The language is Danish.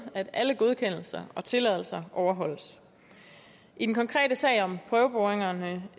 at alle godkendelser og tilladelser overholdes i den konkrete sag om prøveboringerne